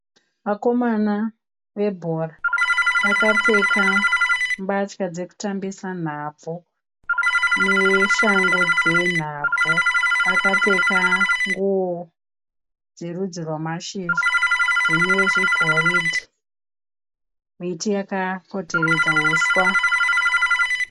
Vakomana vebhora. Vakapfeka mbatya dzekutambisa nhabvu neshangu dzenhabvu. Vakapfeka nguwo dzerudzi rwamashizha dzine zvigoridhe. Miti yakapoteredza huswa